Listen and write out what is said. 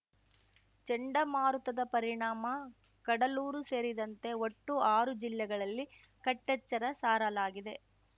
ಚಂಡಮಾರುತದ ಪರಿಣಾಮ ಕಡಲೂರು ಸೇರಿದಂತೆ ಒಟ್ಟು ಆರು ಜಿಲ್ಲೆಗಳಲ್ಲಿ ಕಟ್ಟೆಚ್ಚರ ಸಾರಲಾಗಿದೆ